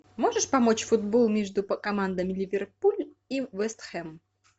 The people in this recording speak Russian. можешь помочь футбол между командами ливерпуль и вест хэм